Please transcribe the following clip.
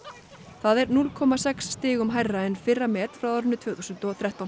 það er núll komma sex stigum hærra en fyrra met frá árinu tvö þúsund og þrettán